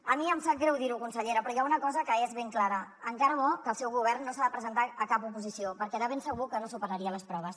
a mi em sap greu dir ho consellera però hi ha una cosa que és ben clara encara bo que el seu govern no s’ha de presentar a cap oposició perquè de ben segur que no superaria les proves